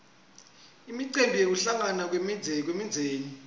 imicimbi yekuhlangana kwemindzeni